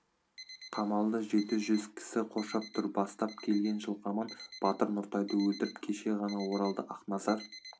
қамалды жеті жүз кісі қоршап тұр бастап келген жылқаман батыр нұртайды өлтіріп кеше ғана оралды ақназар